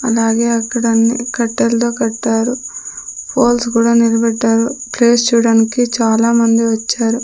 అలాగే అక్కడన్ని కట్టెల్తో కట్టారు పోల్స్ కుడా నిలబెట్టారు ప్లేస్ చూడానికి చాలామంది వచ్చారు.